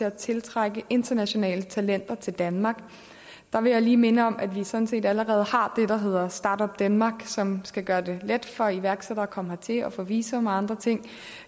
at tiltrække internationale talenter til danmark der vil jeg lige minde om at vi sådan set allerede har det der hedder start up denmark som skal gøre det let for iværksættere at komme hertil og få visum og andre ting